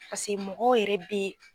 Paseke mɔgɔw yɛrɛ bɛ